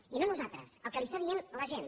i no a nosaltres el que li està dient la gent